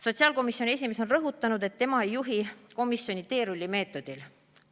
Sotsiaalkomisjoni esimees on rõhutanud, et tema ei juhi komisjoni teerullimeetodil.